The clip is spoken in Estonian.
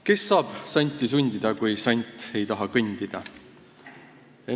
Kes saab santi sundida, kui sant ei taha kõndida.